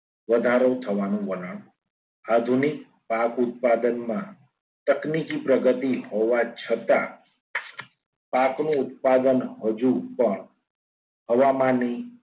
વધારો થવાનો વલણ આધુનિક પાક ઉત્પાદનમાં તકનીકી પ્રગતિ હોવાની છતાં પાકનું ઉત્પાદન હજુ પણ હવામાનની